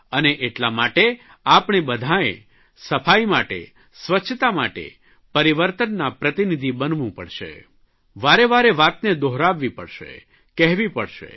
અને એટલા માટે આપણે બધાંએ સફાઇ માટે સ્વચ્છતા માટે પરિવર્તનના પ્રતિનિધિ બનવું પડશે વારેવારે વાતને દોહરાવવી પડશે કહેવી પડશે